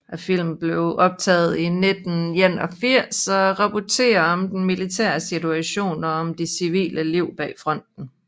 Filmen er optaget i 1981 og rapporterer om den militære situation og om de civile liv bag fronten